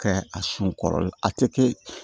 Kɛ a sun kɔrɔ a te kɛ